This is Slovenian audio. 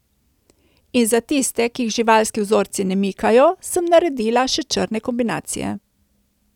In za tiste, ki jih živalski vzorci ne mikajo, sem naredila še črne kombinacije.